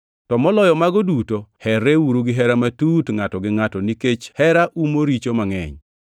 To moloyo mago duto, herreuru gihera matut ngʼato gi ngʼato, nikech hera umo richo mangʼeny.